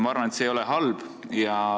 Ma arvan, et see ei ole halb.